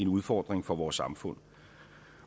udfordring for vores samfund